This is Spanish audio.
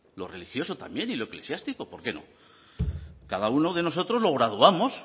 lo religioso también y lo eclesiástico por qué no cada uno de nosotros lo graduamos